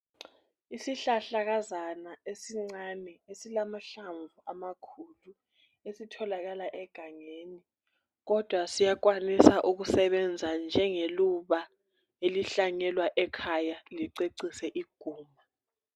Isihlahlakazana esincane esilahlamvu amakhulu esitholakala egangeni. Kodwa siyakwanisa ukusebenza njenge luba elihlanyelwa ekhaya licecisa iguma.